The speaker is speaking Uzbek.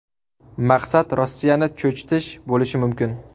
Maqsad Rossiyani cho‘chitish bo‘lishi mumkin.